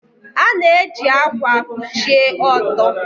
A na-eji ákwà kpuchie ọtọ.